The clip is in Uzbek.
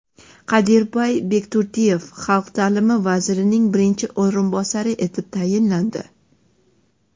Qadirbay Bekturdiyev Xalq ta’limi vazirining birinchi o‘rinbosari etib tayinlandi.